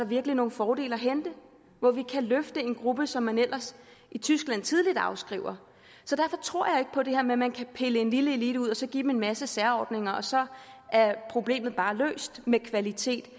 virkelig nogle fordele at hente hvor vi kan løfte en gruppe som man ellers i tyskland tidligt afskriver så derfor tror jeg ikke på det her med at man kan pille en lille elite ud og så give dem en masse særordninger og så er problemet med kvaliteten